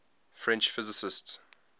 french physicists